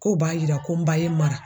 K'o b'a yira ko n ba ye n mara.